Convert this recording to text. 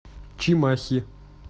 чимахи